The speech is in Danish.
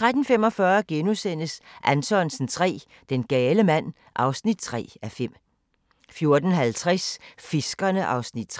13:45: Anthonsen III – Den gale mand (3:5)* 14:50: Fiskerne (3:6)